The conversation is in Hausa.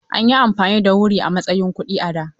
An yi amfani da wuri a matsayin kuɗi a da.